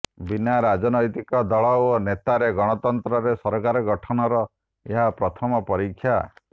ବିନା ରାଜନୈତିକ ଦଳ ଓ ନେତାରେ ଗଣତନ୍ତ୍ରରେ ସରକାର ଗଠନର ଏହା ପ୍ରଥମ ପରୀକ୍ଷା